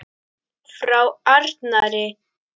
Frá Arnari!